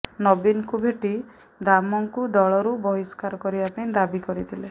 ନବୀନଙ୍କୁ ଭେଟି ଦାମଙ୍କୁ ଦଳରୁ ବହିଷ୍କାର କରିବା ପାଇଁ ଦାବି କରିଥିଲେ